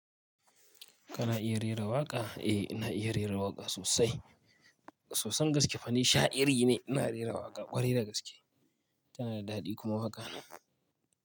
Kana iya rera waƙa? Eh, ina iya rera waƙa sosai. Soson gaske fa ni sha'iri ne. Ina rera waƙa ƙwarai da gaske. Tana da daɗi kuma waƙa.